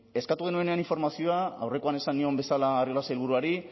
eskatu genuenean informazioa aurrekoan esan nion bezala arriola sailburuari